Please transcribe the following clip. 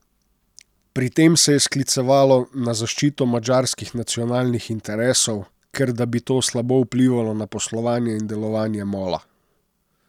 Pri tem se je sklicevalo na zaščito madžarskih nacionalnih interesov, ker da bi to slabo vplivalo na poslovanje in delovanje Mola.